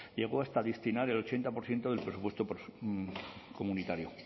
llegó hasta a destinar el ochenta por ciento del presupuesto comunitario